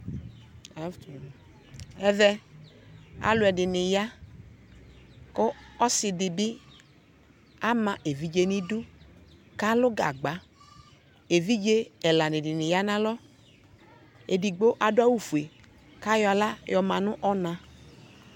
ɛvɛ alʋɛdini ya kʋ ɔsiidi bi ama ɛvidzɛ nʋ idʋ kʋ alʋ gagba, ɛvidzɛ ɛla dini yanʋ alɔ, ɛdigbɔ adʋ awʋ ƒʋɛ kʋ ayɔ ala yɔma nʋ ɔna